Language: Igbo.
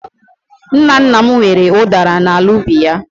Nna nna m nwere udara n'ala ubi ya.